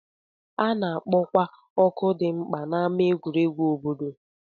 A na-akpọkwa oku dị mkpa n'ámá egwuregwu obodo